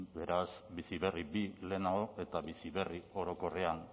beraz bizi berri bigarren lehenago eta bizi berri orokorrean